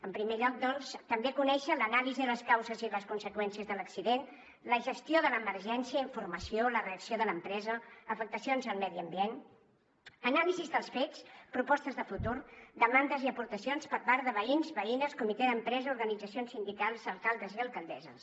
en primer lloc doncs també conèixer l’anàlisi de les causes i les conseqüències de l’accident la gestió de l’emergència la reacció de l’empresa afectacions al medi ambient anàlisis dels fets propostes de futur demandes i aportacions per part de veïns veïnes comitè d’empresa organitzacions sindicals alcaldes i alcaldesses